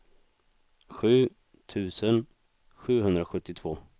sju tusen sjuhundrasjuttiotvå